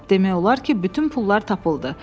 Demək olar ki, bütün pullar tapıldı.